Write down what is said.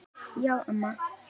Já, amma.